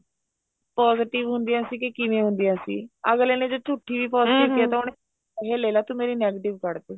positive ਹੁੰਦੀਆਂ ਸੀ ਕੇ ਕਿਵੇਂ ਹੁੰਦੀਆਂ ਸੀ ਅਗਲੇ ਨੇ ਜੇ ਝੂਠੀ positive ਤਾਂ ਉਹਨਾ ਨੇ ਪੈਸੇ ਲੈਲਾ ਤੂੰ ਮੇਰੀ negative ਕੱਡ ਦੇ